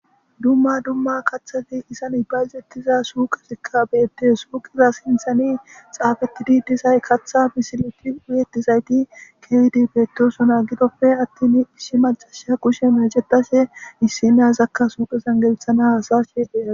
dumma dumma kathafi isan ibayzettiza suuqesikka beette suuqeza sinthani xaafetidi disay katha misileti wuyettizayti keydi beettosona gidofe attin isshi macasha kushe mecetashe missinazakka suuqe zangelethana hasa sheeqera